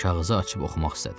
Kağızı açıb oxumaq istədi.